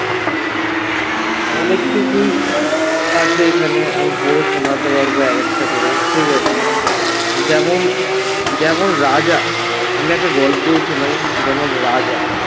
অনেককিছুই আছে এখানে আমি পড়ে শোনাতে পারবো এক একটা করে ঠিকাছে যেমন যেমন রাজা, আমি একটা গল্পই শোনাই যেমন রাজা